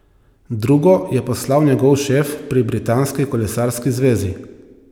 Drugo je poslal njegov šef pri Britanski kolesarski zvezi.